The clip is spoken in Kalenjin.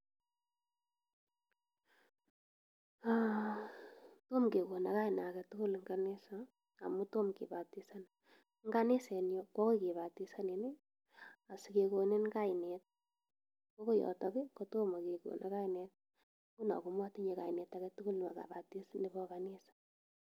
Tom kekonom kainaa agetugul en kanisa, amun tom kibatisanan. En kanisanyun ko okoi kibatisanin asikekonii kainet, kwoko yotok kotom kekonon kainaa.